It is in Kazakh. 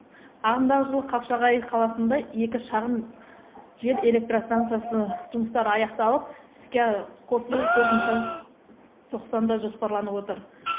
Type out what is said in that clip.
ағымдағы жылы қапшағай қаласында екі шағын жел электростанциясы жұмыстары аяқталып іске қосылу төртінші тоқсанда жоспарланып отыр